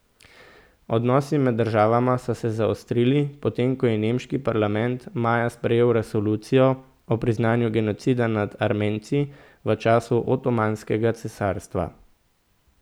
Odnosi med državama so se zaostrili, potem ko je nemški parlament maja sprejel resolucijo o priznanju genocida nad Armenci v času Otomanskega cesarstva.